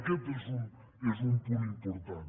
aquest és un punt important